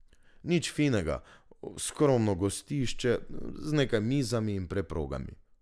Nič finega, skromno gostišče z nekaj mizami in preprogami.